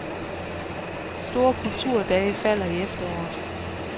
De store kulturdage falder i efteråret.